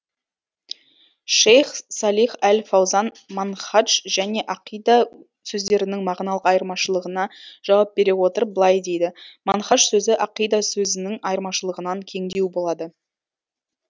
шейх салих әл фаузан манһадж және ақида сөздерінің мағыналық айырмашылығына жауап бере отырып былай дейді манхаж сөзі ақида сөзінің айырмашылығынан кеңдеу болады